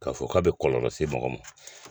K'a fɔ k'a bɛ kɔlɔlɔ se mɔgɔ ma